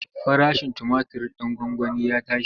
Farashin tumatir ɗin gwangwani ya tashi.